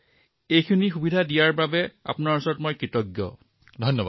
মই আপোনাৰ ওচৰত কৃতজ্ঞ যে আপুনি মোক এই সুবিধা প্ৰদান কৰিলে